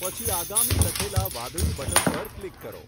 પછી આગામી લખેલા વાદળી બટન પર ક્લિક કરો.